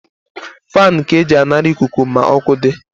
Fani ka e ji anara ikuku ma ọkụ di